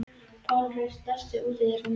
Pálrún, læstu útidyrunum.